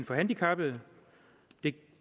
for handicappede det